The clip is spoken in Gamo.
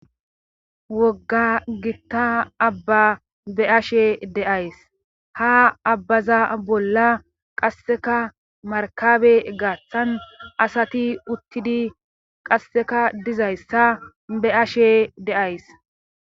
wogga gitta abba be ashe de'ays ha abbaza bolla qasseka markabe gaaththan asati uttidi qasseka dizayssa be ashe deays